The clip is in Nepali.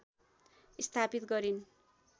स्थापित गरिन्